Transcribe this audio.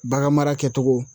Bagan mara kɛ togo.